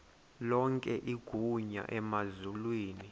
lonke igunya emazulwini